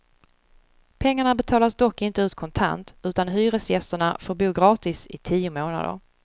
Pengarna betalas dock inte ut kontant, utan hyresgästerna får bo gratis i tio månader.